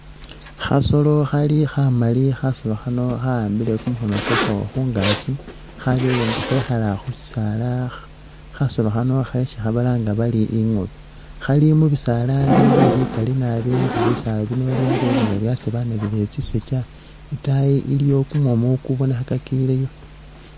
Khasolo khali khamali khasolo khano khawambile kumukhono kwakho khungakyi khabele nga khekhala khushisaala kyasolo khano khesi balanga bari ingoobe khali mumisaala bili bikali nabi nga bisaala bino byabele nga byasabanabile tsisaja itayi iliyo kumumu kubonekhakileyo.